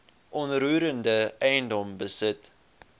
onroerende eiendom besit